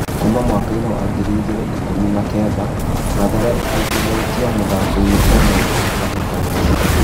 Kuma mwakainĩ wa ngiri igĩ rĩ na ikũmi na kenda Mathare aingĩ ritio muthakoinĩ ũmwe kĩ hĩ tahĩ tanoinĩ .